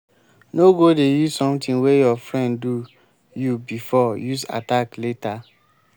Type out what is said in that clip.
no go dey use something wey your friend do you before use attack later.